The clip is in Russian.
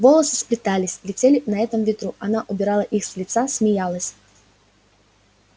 волосы сплетались летели на этом ветру она убирала их с лица смеялась